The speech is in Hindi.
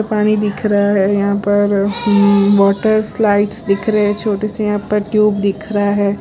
पानी दिख रहा है यहां पर वाटर स्लाइड्स दिख रहे हैं छोटे से यहां पर ट्यूब दिख रहा है।